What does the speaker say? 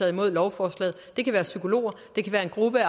imod lovforslaget det kan være psykologer det kan være en gruppe